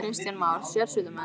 Kristján Már: Sérsveitarmenn?